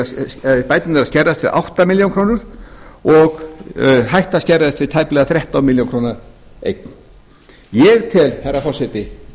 bæturnar að skerðast við átta milljónir króna og hætta að skerðast við tæplega þrettán milljónir króna eign ég tel herra forseti